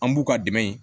An b'u ka dɛmɛ in